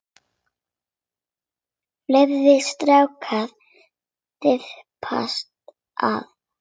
Fleiri strákar þyrpast að.